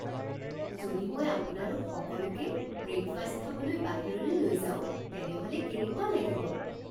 যদি মই আপোনালোক সকলোকে ব্ৰেকফাষ্ট খাবলৈ বাহিৰলৈ লৈ যাওঁ তেনেহ'লে কেনেকুৱা লাগিব?